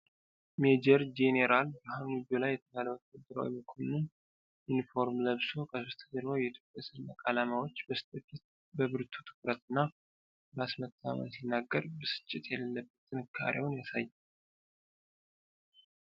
ሜጀር ጄኔራል ብርሃኑ ጁላ የተባለው ወታደራዊ መኮንን ዩኒፎርም ለበሶ ከበስተጀርባው የኢትዮጵያ ሰንደቅ ዓላማዎች በስተፊት በብርቱ ትኩረት እና በራስ መተማመን ሲናገር ብስጭት የሌለበትን ጥንካሬውን ያሳያል።